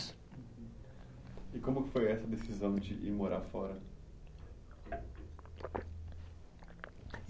E como foi essa decisão de ir morar fora? glub glub (líquido sendo engolido)